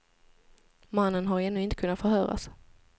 Mannen har ännu inte kunnat förhöras.